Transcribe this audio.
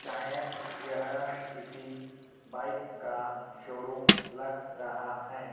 शायद यह किसी बाइक का शोरूम लग रहा हैं।